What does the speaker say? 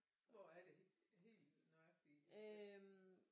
Hvor er det helt nøjagtigt I bor henne